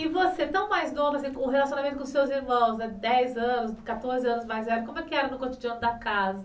E você, tão mais novo, o relacionamento com seus irmãos, dez anos, quatorze anos mais velho, como é que era no cotidiano da casa?